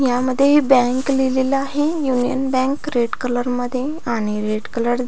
ह्यामध्ये बँक लिहलेले आहे यूनियन बँक रेड कलर मध्ये आणि रेड कलर --